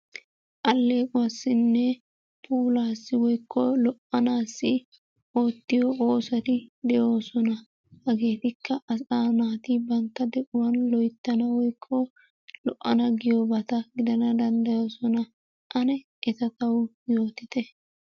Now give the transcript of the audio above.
Allequwassinne puulassi woykko lo"anassi oottiyo oosoti de'oosona. Hageetikka asaa naati banttaa de'uwan loyttana woykko lo"ana giyoobata gidana danddayoosona. Ane eta taw yootite.